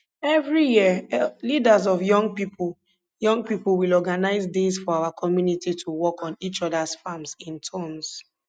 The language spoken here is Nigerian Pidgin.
every year leaders of young people young people will organize days for our community to work on each others farms in turns